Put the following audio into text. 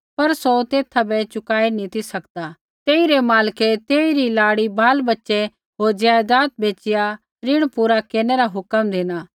पर सौ तेथा बै चुकाई नी ती सकदा तेइरै मालकै तेइरी लाड़ी बालबच्च़ै होर ज़ायज़ाद बेच़िया ऋण पूरा केरनै रा हुक्म धिना